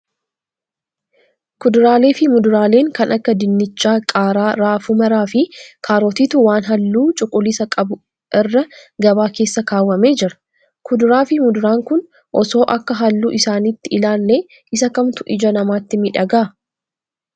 Kuduraalee fi muduraaleen kan akka dinnichaa, qaaraa, raafuu maraa fi kaarotiitu waan halluu cuquliisaa qabu irra gabaa keessa kaawwamee jira. Kuduraa fi muduraan kun osoo akka halluu isaaniitti ilaallee isa kamtu ija namaatti miidhagaa?